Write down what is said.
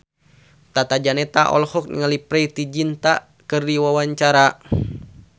Tata Janeta olohok ningali Preity Zinta keur diwawancara